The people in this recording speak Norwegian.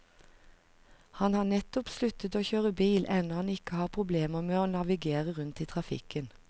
Han har nettopp sluttet å kjøre bil enda han ikke har problemer med å navigere rundt i trafikken.